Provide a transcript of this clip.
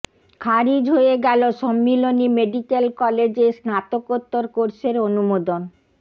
খারিজ হয়ে গেল সম্মিলনি মেডিক্যাল কলেজে স্নাতকোত্তর কোর্সের অনুমোদন